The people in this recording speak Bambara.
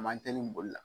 A man teli boli la